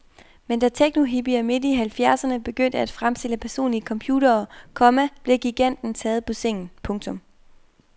Men da teknohippier midt i halvfjerdserne begyndte at fremstille personlige computere, komma blev giganten taget på sengen. punktum